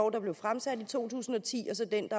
der blev fremsat i to tusind og ti